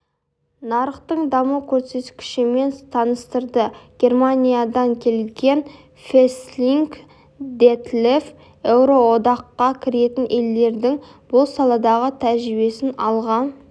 нарықтың даму көрсеткішімен таныстырды германиядан келген весслинг детлеф еуроодаққа кіретін елдердің бұл саладағы тәжірибесін алға